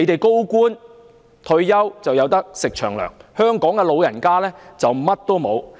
高官退休可以"食長糧"，香港的長者則甚麼都沒有。